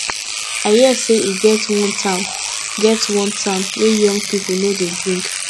i hear say e get wan town get wan town wey young people no dey drink